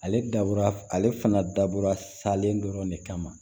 Ale dabɔra ale fana dabɔra salen dɔrɔn de kama